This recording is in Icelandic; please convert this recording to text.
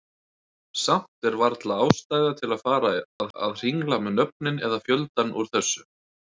Samt er varla ástæða til að fara að hringla með nöfnin eða fjöldann úr þessu.